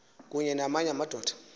kunye namanye amadoda